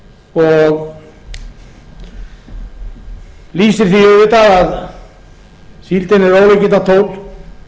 og lýsti því auðvitað að síldin er ólíkindatól kemur í firði og